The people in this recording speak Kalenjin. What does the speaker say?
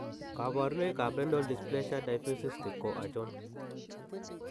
Kabarunoik ab Renal dysplasia diffuse cystic ko achon?